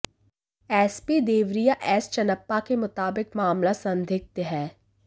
SP Deoria S Channappa के मुताबिक मामला संदिग्ध है